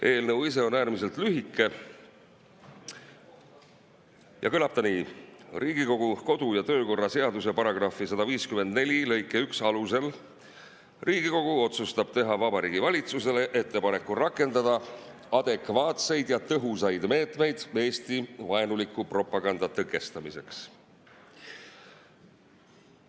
Eelnõu ise on äärmiselt lühike ja kõlab nii: "Riigikogu kodu‑ ja töökorra seaduse § 154 lõike 1 alusel Riigikogu otsustab: teha Vabariigi Valitsusele ettepanek rakendada adekvaatseid ja tõhusaid meetmeid Eesti-vaenuliku propaganda tõkestamiseks.